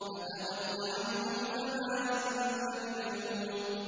فَتَوَلَّ عَنْهُمْ فَمَا أَنتَ بِمَلُومٍ